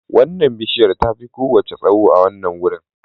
Wannan bishiyar tafi kowace tsawo a wannan wurin